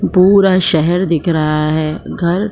पूरा शहर दिख रहा है घर --